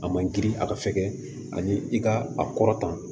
A man girin a ka fɛkɛ ani i ka a kɔrɔtan